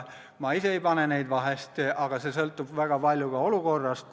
Ma ise neid vahest ei pane, aga see sõltub väga palju olukorrast.